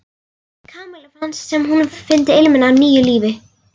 Kamilla fannst sem hún fyndi ilminn af nýju lífi.